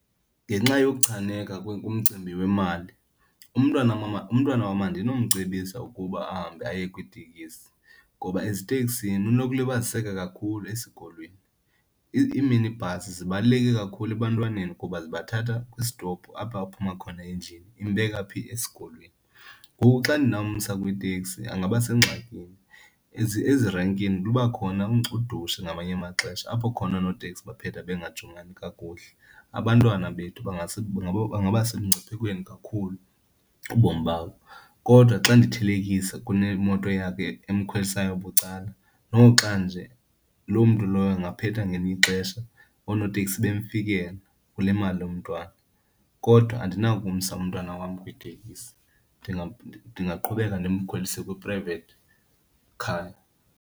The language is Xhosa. Ngenxa yokuchaneka kumcimbi wemali, umntwana mama, umntwana wam andinomcebisa ukuba ahambe aye kwiitekisi ngoba eziteksini unokulibaziseka kakhulu esikolweni. Iiminibhasi zibaluleke kakhulu ebantwaneni kuba zibathatha kwisitopu apha aphuma khona endlini. Imbeka phi? Esikolweni, ngoku xa ndinomsa kwiiteksi angaba sengxakini. Ezi renkini luba khona udushe ngamanye amaxesha apho khona oonoteksi baphetha bengajongani kakuhle, abantwana bethu bangaba semngciphekweni kakhulu ubomi babo. Kodwa xa ndithelekisa kunemoto yakhe emkhwelisayo bucala, noxa nje loo mntu lowo angaphetha ngelinye ixesha oonoteksi bemfikela kule mali yomntwana. Kodwa andinakumsa umntwana wam kwiitekisi, ndingaqhubeka ndimkhwelise kwi-private car.